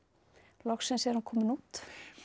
loksins er hún komin út